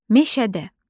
Meşədə.